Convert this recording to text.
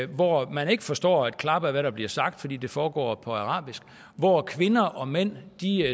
hvor man ikke forstår et klap af hvad der bliver sagt fordi det foregår på arabisk hvor kvinder og mænd